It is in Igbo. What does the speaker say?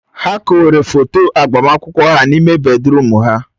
Ha kowere foto agbamakwụkwọ ha n'ime bèdrụm ha.